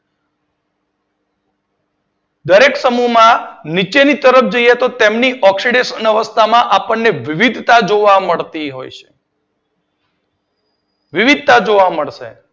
દરેક સમૂહ માં નીચેની તરફ જઈએ તો તેની ઓક્સીડેશન અવસ્થા માં વિવિધતા જોવા મળતી હોય. વિવિધતા જોવા મળશે.